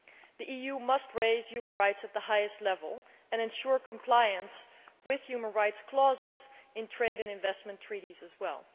The EU must raise human rights at the highest level and ensure compliance with human rights clauses in trade and investment treaties as well.